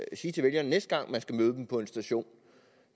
sige til vælgerne næste gang man skal møde dem på en station